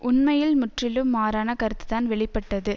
உண்மையில் முற்றிலும் மாறான கருத்து தான் வெளி பட்டது